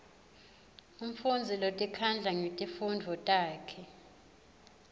mfundzi lotikhandla ngetifundvo takhe